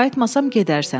Qayıtmasam gedərsən.